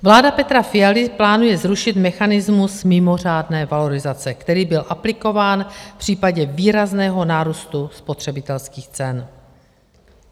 Vláda Petra Fialy plánuje zrušit mechanismus mimořádné valorizace, který byl aplikován v případě výrazného nárůstu spotřebitelských cen.